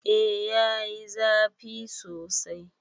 Eh yayi zafi sosai.